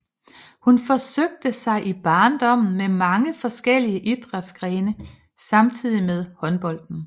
Hun forsøgte sig i barndommen med mange forskellige idrætsgrene samtidig med håndbolden